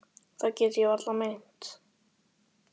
Það get ég varla meint.